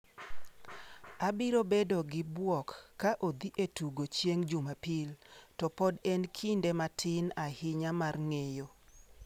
Abiro bedo gi bwok ka odhi e tugo chieng’ Jumapil, to pod en kinde matin ahinya mar ng’eyo.